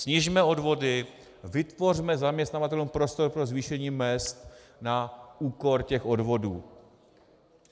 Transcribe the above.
Snižme odvody, vytvořme zaměstnavatelům prostor pro zvýšení mezd na úkor těch odvodů.